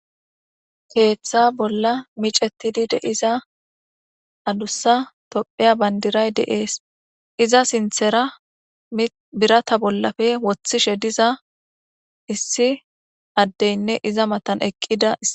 Keetha bola micetidi deyiza adusa tophiya bandiray dees izza sinthara birata bolappe wothishe dizza issi adeynne izaz matan eqqidas